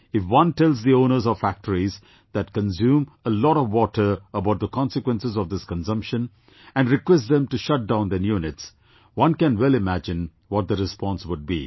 If one tells the owners of factories that consume a lot of water about the consequences of this consumption and requests them to shut down their units, one can well imagine what the response would be